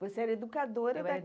Você era educadora da creche? Eu era